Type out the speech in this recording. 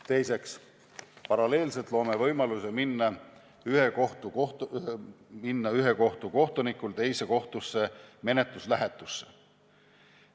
Teiseks, paralleelselt luuakse võimalus, et ühe kohtu kohtunik läheb teise kohtusse menetluslähetusse.